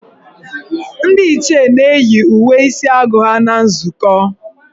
Ndị Ichie na-eyi uwe isi agụ ha na nzukọ.